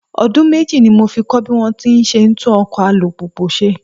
Ọdún méjì ní mo fi kọ́ bí wón ti ń ṣe tún ọkọ̀ alùpùpù ṣe.